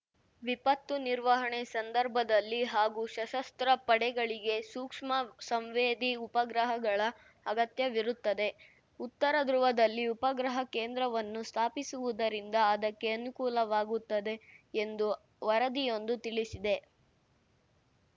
ವಿಪತ್ತು ನಿರ್ವಹಣೆ ಸಂದರ್ಭದಲ್ಲಿ ಹಾಗೂ ಸಶಸ್ತ್ರ ಪಡೆಗಳಿಗೆ ಸೂಕ್ಷ್ಮ ಸಂವೇದಿ ಉಪಗ್ರಹಗಳ ಅಗತ್ಯವಿರುತ್ತದೆ ಉತ್ತರ ಧ್ರುವದಲ್ಲಿ ಉಪಗ್ರಹ ಕೇಂದ್ರವನ್ನು ಸ್ಥಾಪಿಸುವುದರಿಂದ ಅದಕ್ಕೆ ಅನುಕೂಲವಾಗುತ್ತದೆ ಎಂದು ವರದಿಯೊಂದು ತಿಳಿಸಿದೆ